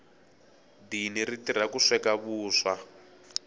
dini ri tirha ku sweka vuswa